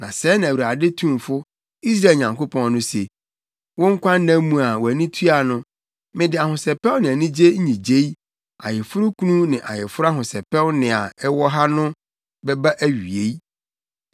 Na sɛɛ na Awurade Tumfo, Israel Nyankopɔn no se: Wo nkwanna mu a wʼani tua no, mede ahosɛpɛw ne anigye nnyigyei, ayeforokunu ne ayeforo ahosɛpɛw nne a ɛwɔ ha no bɛba awiei.